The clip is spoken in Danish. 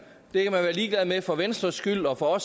det kan man være ligeglad med for venstres skyld og for